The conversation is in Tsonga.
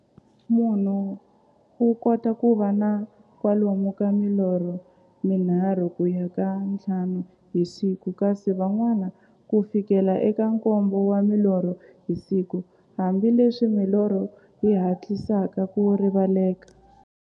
Munhu u kota ku va na kwalomu ka milorho mi nharhu ku ya ka ya nthlanu hi siku, kasi van'wana ku fikela eka nkombo wa milorho hi siku, hambileswi milorho yi hatlisaka ku rivaleka.